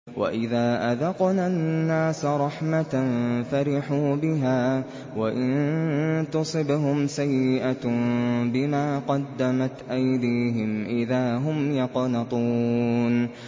وَإِذَا أَذَقْنَا النَّاسَ رَحْمَةً فَرِحُوا بِهَا ۖ وَإِن تُصِبْهُمْ سَيِّئَةٌ بِمَا قَدَّمَتْ أَيْدِيهِمْ إِذَا هُمْ يَقْنَطُونَ